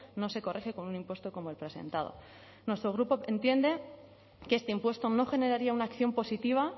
no se corrige con un impuesto como el presentado nuestro grupo entiende que este impuesto no generaría una acción positiva